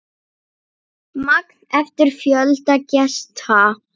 Magn eftir fjölda gesta.